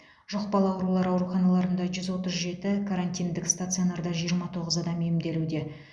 жұқпалы аурулар ауруханаларында жүз отыз жеті карантиндік стационарда жиырма тоғыз адам емделуде